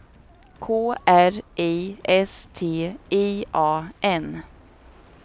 K R I S T I A N